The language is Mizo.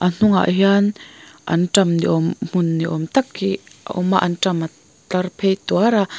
a hnungah hian antam ni awm hmun ni awm tak hi a awm a antam a tlar phei tuar a.